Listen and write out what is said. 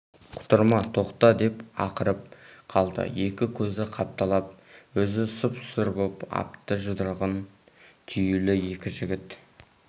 құтырма тоқта деп ақырып қалды екі көзі қапталап өзі сұп-сұр боп апты жұдырығы түюлі екі жігіт